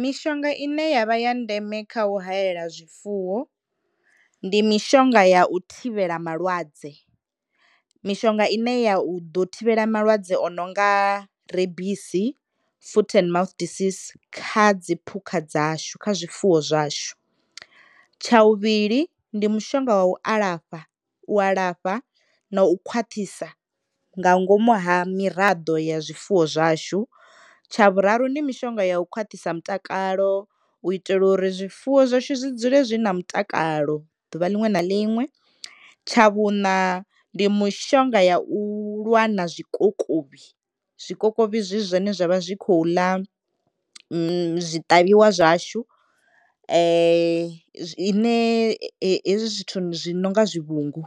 Mishonga ine ya vha ya ndeme kha u hayela zwifuwo ndi mishonga ya u thivhela malwadze, mishonga ine ya ḓo thivhela malwadze o no nga rebisi, foot and mouth deseas kha dziphukha dzashu, kha zwifuwo zwashu, tsha vhuvhili ndi mushonga wa u alafha, u alafha na u khwaṱhisa nga ngomu ha miraḓo ya zwifuwo zwashu, tsha vhuraru ndi mishonga ya u khwaṱhisa mutakalo u itela uri zwifuwo zwashu zwi dzule zwi na mutakalo ḓuvha ḽiṅwe na ḽiṅwe, tsha vhuṋa ndi mushonga ya u lwa na zwikokovhi, zwikokovhi zwi zwone zwane zwa vha zwi khou ḽa zwiṱavhiwa zwashu zwine hezwi zwithu zwi nonga zwivhungu,